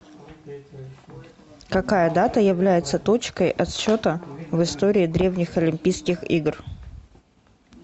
какая дата является точкой отсчета в истории древних олимпийских игр